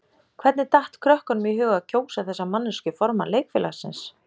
Hvernig datt krökkunum í hug að kjósa þessa manneskju formann leikfélagsins?